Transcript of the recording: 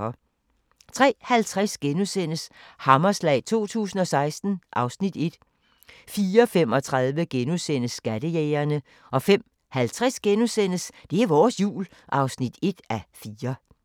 03:50: Hammerslag 2016 (Afs. 1)* 04:35: Skattejægerne * 05:50: Det er vores Jul (1:4)*